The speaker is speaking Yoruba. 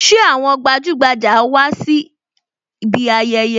Ṣé àwọn gbajugbaja wá síbi ayẹyẹ?